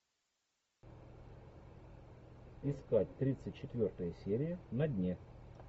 искать тридцать четвертая серия на дне